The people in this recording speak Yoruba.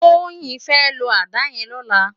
Toyin fè ló àdá yèn lòlá